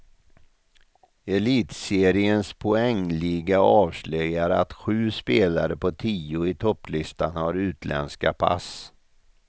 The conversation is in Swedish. Elitseriens poängliga avslöjar att sju spelare på tio i topplistan har utländska pass.